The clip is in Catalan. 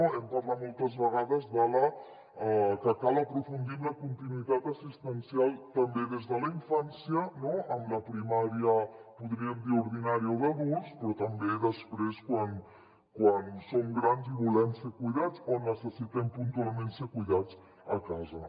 hem parlat moltes vegades que cal aprofundir en la continuïtat assistencial també des de la infància no en la primària en podríem dir ordinària o d’adults però també després quan som grans i volem ser cuidats o necessitem puntualment ser cuidats a casa